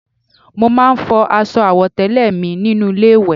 Mo máa ń fọ aṣọ àwọ̀tẹ́lẹ̀ mi nínú ilé ìwẹ̀